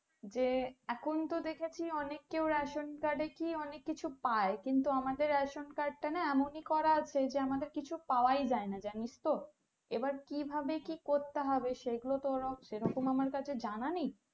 যে এখন তো দেখছি অনেক এ ration card এ কি অনেক কিছু পাই কিন্তু আমাদের ration card টা না এমন ই করা আছে যে আমাদের কিছু পাওয়াই যাই না জানিস তো এবার কি ভাবে কি করতে হবে সে গুলো তো আমার কাছে জানা নেই